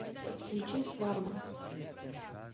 включи сваргу